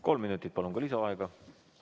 Kolm minutit, palun, ka lisaaega!